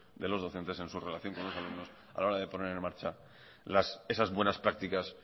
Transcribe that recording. de los docentes en su relación con los alumnos a la hora de poner en marcha esas buenas prácticas